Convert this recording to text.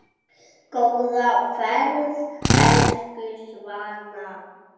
Góða ferð, elsku Svana.